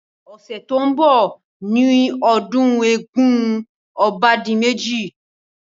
Ọ̀sẹ̀ tí ó ń bọ̀ ni ọdún eégún obádimẹ́ji.